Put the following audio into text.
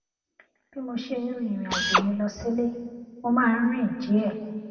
bí mo ṣe ń rin ìrìn àjò mi lọ sílé mo máa ń rìn díè